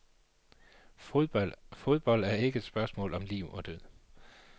Fodbold er ikke et spørgsmål om liv og død.